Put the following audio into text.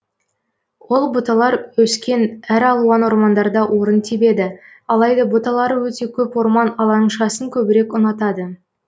ол бұталар өскен әр алуан ормандарда орын тебеді алайда бұталары өте көп орман алаңшасын көбірек ұнатады